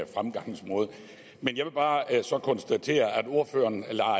fremgangsmåde men jeg vil bare så konstatere at ordføreren